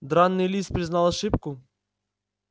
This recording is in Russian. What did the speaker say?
драный лис признал ошибку